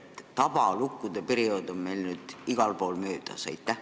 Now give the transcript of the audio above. Kas tabalukkude periood on meil nüüd igal pool möödas?